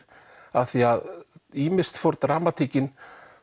af því að ýmist fór dramatíkin